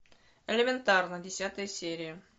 элементарно десятая серия